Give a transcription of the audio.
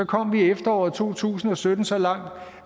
kom vi i efteråret to tusind og sytten så langt